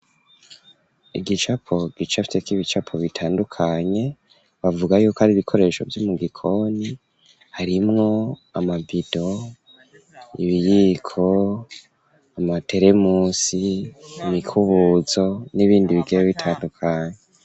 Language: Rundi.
Igicapo gicafyeko ibicapo bitandukanye bavuga yuko ari ibikoresho vyo mu gikoni harimwo amabido, ibiyiko, amateremusi, imikubuzo n'ibindi bigeye bitandukanye.